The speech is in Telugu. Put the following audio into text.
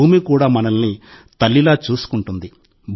భూమి కూడా మనల్ని తల్లిలా చూసుకుంటుంది